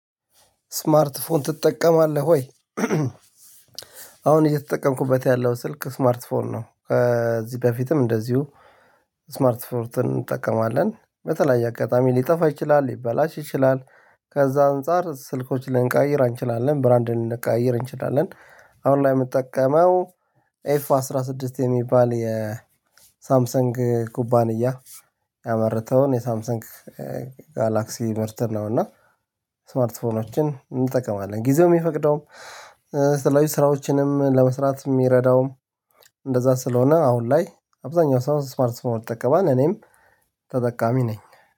ስማርት ስልክ ትጠቀማለህ ወይ? አሁን እየተጠቀምኩበት ያለው ስልክ ስማርት ስልክ ነው። ከዚህ በፊትም እንደዚሁ፤ ስማርት ፎንን እንጠቀማለን። በተለያየ አጋጣሚ ሊጠፋ ይችላል፤ ሊበላሽ ይችላል፤ ከዛ አንፃር ስልኮች ልንቀያይር እንችላለን፤ ብራንድ ልንቀይር እንችላለን፤ አሁን ላይ የምጠቀመው ኤፍ አስራ ስድስት የሚባል የሳምሰንግ ኩባንያ ያመረተውን የሳምሰንግ ጋላክሲ ምርት ነው። እና ስማርት ፎኖችን እንጠቀማለን፤ ጊዜው የሚፈቅደውም ስራዎችንም ለመስራት የሚረዳውም፤ እንደዛ ስለሆነ አሁን ላይ አብዛኛው ሰው ስማርት ፎን ይጠቀማል እኔም ተጠቃሚ ነኝ።